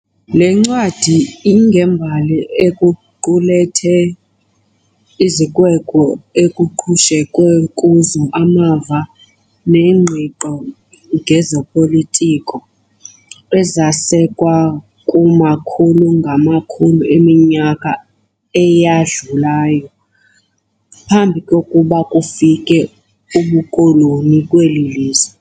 Le ncwadi ingembali equlethe izikweko ekuqhushekwe kuzo amava nengqiqo ngezopolitiko, ezasekwa kumakhulu-ngamakhulu eminyaka eyadlulayo, phambi kokuba bufike ubukoloni kweli lizwe.